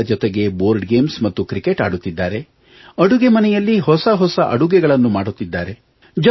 ಮಕ್ಕಳ ಜೊತೆ board games ಮತ್ತು ಕ್ರಿಕೆಟ್ ಆಡುತ್ತಿದ್ದಾರೆ ಅಡುಗೆಮನೆಯಲ್ಲಿ ಹೊಸ ಹೊಸ ಅಡುಗೆಗಳನ್ನು ಮಾಡುತ್ತಿದ್ದಾರೆ